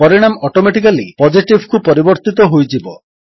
ପରିଣାମ ଅଟିମେଟିକାଲୀ Positiveକୁ ପରିବର୍ତ୍ତିତ ହୋଇଯିବ